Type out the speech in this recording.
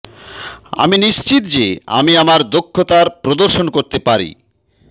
আমি নিশ্চিত যে আমি আমার দক্ষতার প্রদর্শন করতে পারি